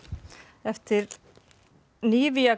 eftir